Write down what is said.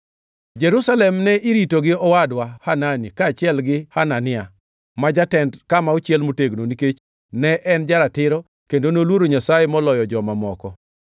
Jerusalem ne irito gi owadwa, Hanani kaachiel gi Hanania ma jatend kama ochiel motegno, nikech ne en ja-ratiro kendo noluoro Nyasaye moloyo joma moko.